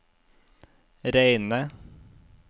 reine